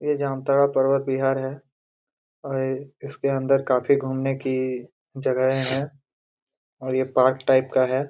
ये जामताड़ा पर्वत विहार है और इसके अंदर काफी घूमने की जगहें है और ये पार्क टाइप का हैं।